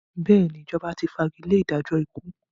Bẹ́ẹ̀ ni, Ìjọba ti fagilé ìdájọ́ ikú.